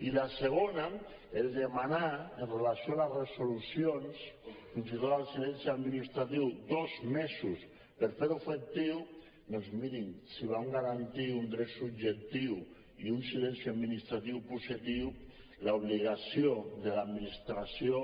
i la segona el demanar amb relació a les resolucions fins i tot al silenci administratiu dos mesos per fer lo efectiu doncs mirin si volen garantir un dret subjectiu i un silenci administratiu positiu l’obligació de l’administració